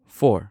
four